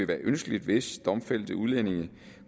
være ønskeligt hvis domfældte udlændinge